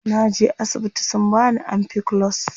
Naje asibiti sun bani ampiclox.